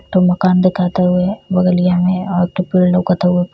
एक ठो मकान दिखाता उहे बगलिया में और एकठो पेड़ लोकता उहे --